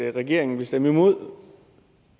at regeringen vil stemme imod